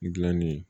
Gilanni